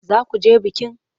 Za ku je bikin?